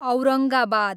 Aurangabad